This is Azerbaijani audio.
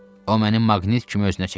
O mənim maqnit kimi özünə çəkir.